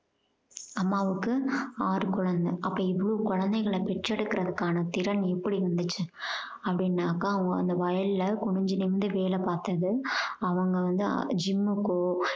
அம்மாவுக்கு ஆரு குழந்தை. அப்போ இவ்ளோ குழந்தைங்கள பெற்றெடுக்குதற்கான திறன் எப்படி இருந்துச்சு அப்படின்னாக்க அவங்க அந்த வயல்ல அவங்க குனிஞ்சு நிமிந்து வேலை பார்த்தது அவங்க வந்து gym க்கோ